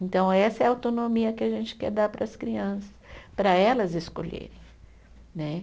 Então essa é a autonomia que a gente quer dar para as crianças, para elas escolherem né.